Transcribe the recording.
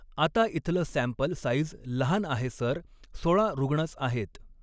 आता इथलं sample size लहान आहे सर, सोळा रूग्णच आहेत.